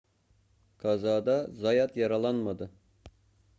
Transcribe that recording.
kazada zayat yaralanmadı